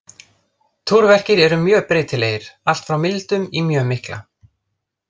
Túrverkir eru mjög breytilegir, allt frá mildum í mjög mikla.